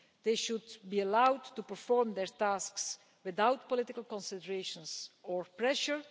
They should be allowed to perform their tasks without political considerations or pressure.